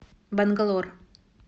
бангалор